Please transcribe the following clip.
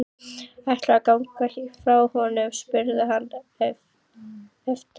Ætlarðu að ganga frá honum? spurði hann efins.